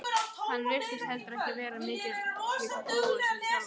Hann virtist heldur ekki vera mikill bógur sem þjálfari.